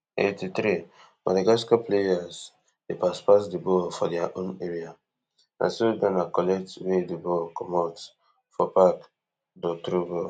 eighty-threemadagascar players dey pass pass di ball for dia own area na so ghana collect wey di ball comot for park dor throw ball